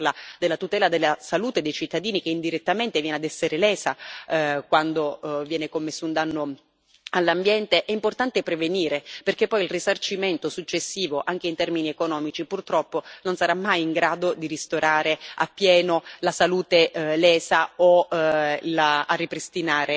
Quando si parla di danni ambientali, e quando si parla della tutela della salute dei cittadini che, indirettamente, viene a essere lesa quando viene commesso un danno all'ambiente, è importante prevenire, perché poi il risarcimento successivo, anche in termini economici, purtroppo non sarà mai in grado di ristorare appieno la salute lesa o